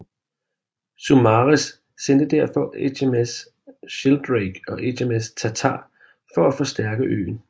Saumarez sendte derfor HMS Sheldrake og HMS Tartar for at forstærke øen